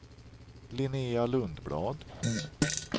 Linnea Lundblad